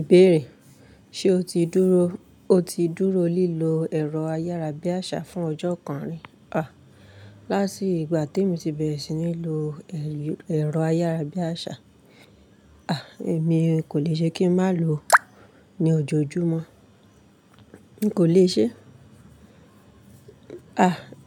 Ìbéèrè: ṣe o ti dúró, o ti dúró lílo ẹ̀rọ ayárabíàṣá fún ọjọ́ kan rí? Láti ìgbà tí mo ti bẹ̀rẹ̀ sí ní lo ẹ̀rọ ayárabíàṣá, èmi kò lè ṣe kí n má lo òó ni ojoojúmọ́. N kò lè ṣe.